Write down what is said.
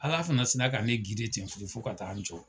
Ala fana sina ka ne ten fo ka taa an jɔ.